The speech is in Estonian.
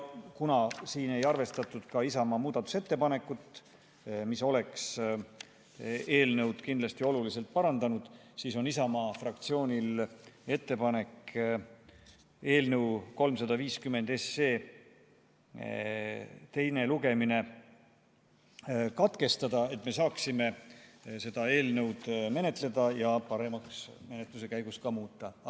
Kuna siin ei arvestatud ka Isamaa muudatusettepanekut, mis oleks eelnõu kindlasti oluliselt parandanud, siis on Isamaa fraktsioonil ettepanek eelnõu 350 teine lugemine katkestada, et me saaksime seda eelnõu menetleda ja menetluse käigus ka paremaks muuta.